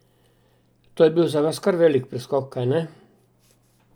To je bil za vas kar velik preskok, kajne?